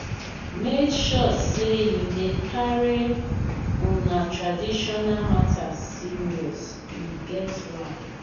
make sure say you dey carry una traditional matters serious e get why.